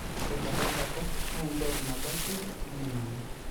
ore tenkae kata naa enkiok nabo ake naming'anu